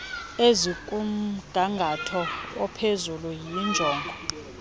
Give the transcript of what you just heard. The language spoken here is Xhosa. ezikumgangatho ophezulu yinjongo